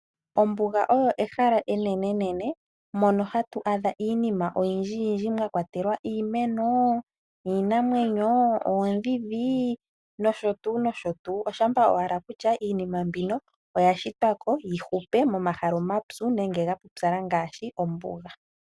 Ombuga oyo ehala enenenene mono hatu adha iinima oyindji yindji mwa kwatelwa iimeno, iinamwenyo, oondhindhi nosho tuu, nosho tuu. Oshampa owala kutya iinima mbino oya shitwa ko yi hupe momahala omapyu nenge ga pupyala ngaashi ombuga.